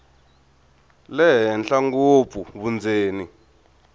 le henhla ngopfu vundzeni